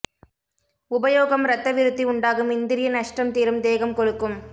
உபயோகம் இரத்த விருத்தி உண்டாகும் இந்திரிய நஷ்டம் தீரும் தேகம் கொழுக்கும்